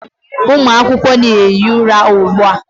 Ụmụ akwụkwọ na-ehi ụra ugbu a.